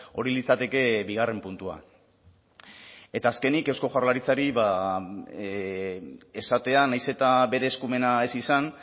hori litzateke bigarren puntua eta azkenik eusko jaurlaritzari esatea nahiz eta bere eskumena ez izan